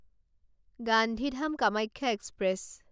Gandhidham Kamakhya express